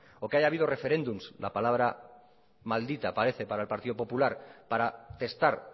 o que haya habido referéndums la palabra maldita parece para el partido popular para testar